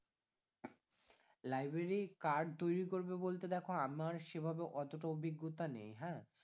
Library card তৈরী করবে বলতে আমার সেভাবে অতটা অভিজ্ঞতা নেই হ্যাঁ